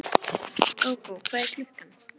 Gógó, hvað er klukkan?